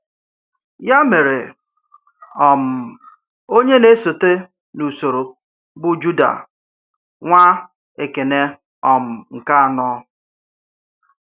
Yà mere, um onye na-èsòte n’usoro bụ̀ Júdà, nwá Èkénè um nke anọ̀.